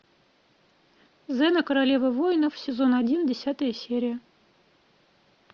зена королева воинов сезон один десятая серия